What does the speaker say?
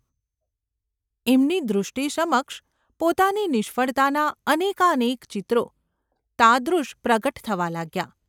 એમની દૃષ્ટિ સમક્ષ પોતાની નિષ્ફળતાનાં અનેકાનેક ચિત્રો તાદૃશ પ્રગટ થવા લાગ્યાં.